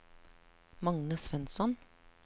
Magne Svensson